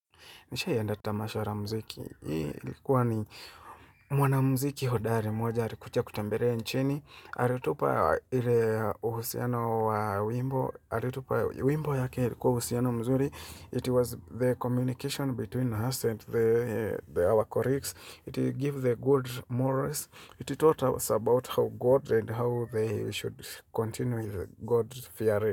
Nishaienda tamasha la mziki. Ilikuwa ni mwana mziki hodari moja. Alikuja kutembelea nchini. Aliutupa ile uhusiano wa wimbo. Aliutupa wimbo yake ilikuwa uhusiano mzuri. It was the communication between us and our colleagues. It gave the good morals. It taught us about how God and how they should continue with God's theory.